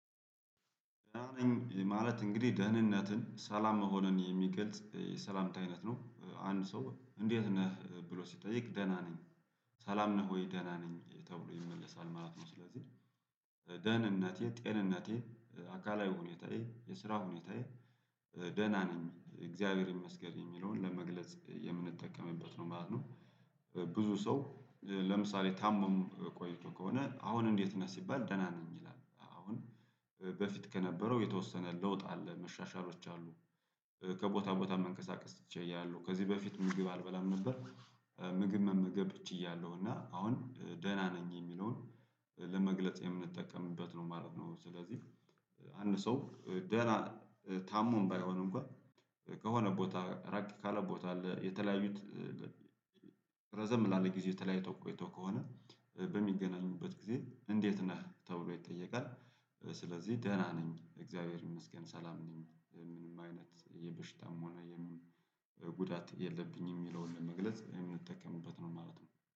ደህና ነኝ ማለት እንግዲህ ደህንነትን ሰላም መሆንን የሚገልጽ የሰላምታ አይነት ነው አንድ ሰው እንዴት ነህ ብሎ ሲጠይቅ ደህና ነኝ ሰላም ነህ ወይ ደህና ነኝ ተብሎ ይመለሳል ማለት ነው። ስለዚህ ደህንነቴ ጤንነቴ አካላዊ ሁኔታዬ የስራ ሁኔታዬ ደህና ነኝ እግዚአብሔር ይመስገር የሚለውን ለመግለጽ የምንጠቀምበት ነው ማለት ነው። ብዙ ሰው ለምሳሌ ታሞም ቆይቶ ከሆነ አሁን እንዴት ነህ ሲባል ደህና ነኝ ይላል። አሁን በፊት ከነበረው የተወሰነ ለውጥ አለ መሻሻሎች አሉ። ከቦታ ቦታ መንቀሳቀስ ችያለሁ ከዚህ በፊት ምግብ አልበላም ነበር። ምግብ መመገብ ችያለሁ እና አሁን ደህና ነኝ የሚለውን ለመግለጽ የምንጠቀምበት ነው ማለት ነው። ስለዚህ አንድ ሰው ደህና ታሞም ባይሆን እንኳን ከሆነ ቦታ ራቅ ካለ ቦታ አለ የተለያዩት ረዘም ላለ ጊዜ ተለያዩት ቆይተው ከሆነ በሚገናኝበት ጊዜ እንዴት ነህ ተብሎ ይጠየቃል። ስለዚህ ደህና ነኝ እግዚአብሔር ይመስገን ሰላም ነኝ ምንም አይነት የበሽታም ሆነ የምንም ጉዳት የለብኝም የሚለውን ለመግለጽ የምንጠቀምበት ነው ማለት ነው